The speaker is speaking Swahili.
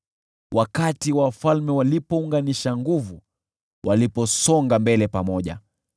Wakati wafalme walipounganisha nguvu, waliposonga mbele pamoja,